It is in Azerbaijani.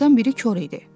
Onlardan biri kor idi.